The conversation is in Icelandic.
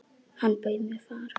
Hann bauð mér far.